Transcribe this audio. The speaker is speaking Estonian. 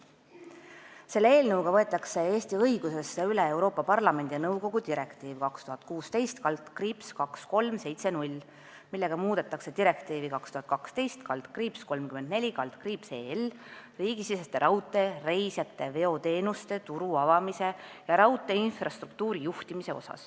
Selle eelnõuga võetakse Eesti õigusesse üle Euroopa Parlamendi ja nõukogu direktiiv 2016/2370, millega muudetakse direktiivi 2012/34/EL riigisiseste raudtee-reisijateveoteenuste turu avamise ja raudteeinfrastruktuuri juhtimise osa.